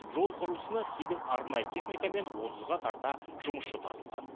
жол құрылысына сегіз арнайы техника мен отызға тарта жұмысшы тартылған